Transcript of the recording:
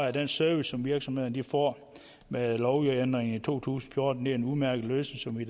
af den service som virksomhederne får med lovændringen i to tusind og fjorten er en udmærket løsning som vi